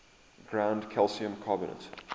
ground calcium carbonate